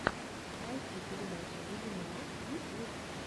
найти передача вебинаров ютьюб